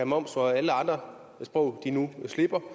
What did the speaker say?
moms og alle andre sprog slipper kan